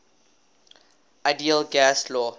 ideal gas law